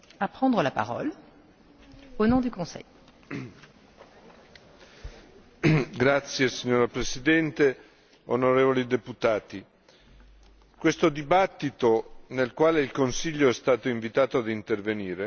Signora presidente, onorevoli deputati, questo dibattito, nel quale il Consiglio è stato invitato ad intervenire, riguarda la democrazia, lo Stato di diritto e i diritti fondamentali in Ungheria.